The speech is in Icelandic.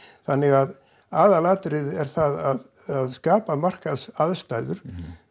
þannig að aðalatriðið er að skapa markaðsaðstæður